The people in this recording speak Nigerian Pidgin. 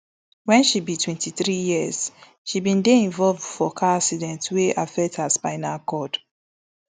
wen she be twenty-three years she bin dey involve for car accident wey affect her spinal cord